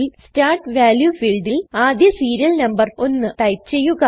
start value ഫീൽഡിൽ ആദ്യ serial number 1 type ചെയ്യുക